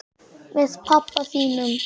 Með pabba þínum?